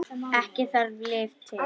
Ekki þarf lyf til.